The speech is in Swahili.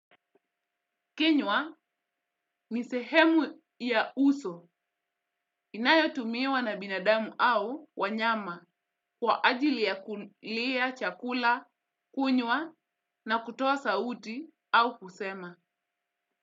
Kinywa ni sehemu ya uso inayotumiwa na binadamu au wanyama kwa ajili ya kulia chakula, kunywa na kutoa sauti au kusema.